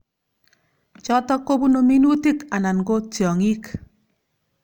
Chotok kobunu minutik anan ko tyong'ik.